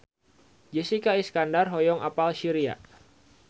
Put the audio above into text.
Jessica Iskandar hoyong apal Syria